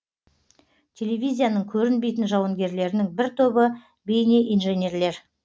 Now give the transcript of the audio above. телевизияның көрінбейтін жауынгерлерінің бір тобы бейнеинженерлер